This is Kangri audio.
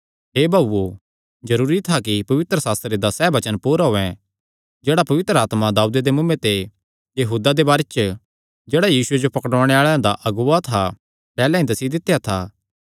हे भाऊओ जरूरी था कि पवित्रशास्त्रे दा सैह़ वचन पूरा होयैं जेह्ड़ा पवित्र आत्मा दाऊदे दे मुँऐ ते यहूदा दे बारे च जेह्ड़ा यीशुये जो पकड़ुआणे आल़ेआं दा अगुआ था पैहल्लैं ई दस्सी दित्या था